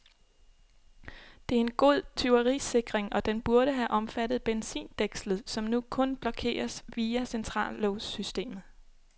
Det er en god tyverisikring, og den burde have omfattet benzindækslet, som nu kun blokeres via centrallåssystemet.